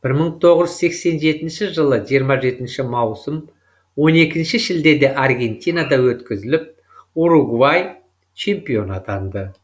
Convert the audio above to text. бір мың тоғыз жүз сексен жетінші жылы жиырма жетінші маусым он екінші шілдеде аргентинада өткізіліп уругвай чемпион атанды